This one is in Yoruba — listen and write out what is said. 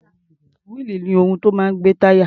Wíìlì ni ohun tó máa ń gbé táyà.